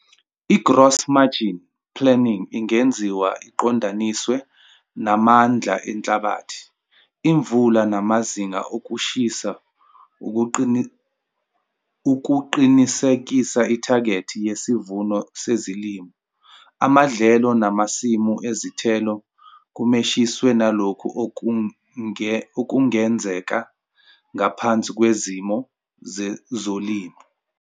I-gross margin planning ingenziwa iqondaniswe namandla enhlabathi, imvula namazinga okushisa ukuqinisekisa ithagethi yesivuno sezilimo, amadlelo namasimu ezithelo kumeshiswe nalokho okungenzeka ngaphansi kwezimo zezolimo.